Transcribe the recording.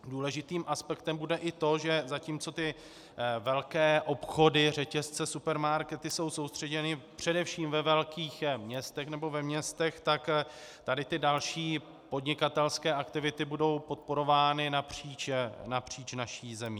Důležitým aspektem bude i to, že zatímco ty velké obchody, řetězce, supermarkety jsou soustředěny především ve velkých městech nebo ve městech, tak tady ty další podnikatelské aktivity budou podporovány napříč naší zemí.